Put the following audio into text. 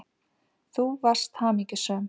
Þú varst hamingjusöm.